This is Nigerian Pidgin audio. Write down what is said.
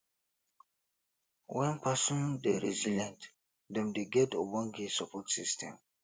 when person dey resilient dem dey get ogbonge support system